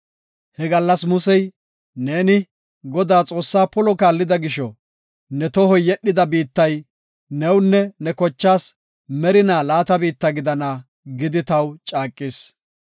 He gallas Musey, ‘Neeni, Godaa, Xoossaa polo kaallida gisho, ne tohoy yedhida biittay newunne ne kochaas merinaa laata biitta gidana’ gidi taw caaqis.